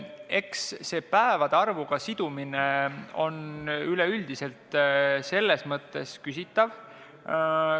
Eks see päevade arvuga sidumine on üleüldse küsitav.